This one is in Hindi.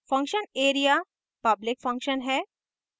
function area public function है